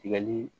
Tigɛli